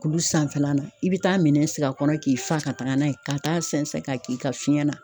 Kulu sanfɛla la i bi taa minɛn sigi a kɔnɔ k'i fa ka taga n'a ye ka taa sɛnsɛn ka k'i ka fiɲɛ na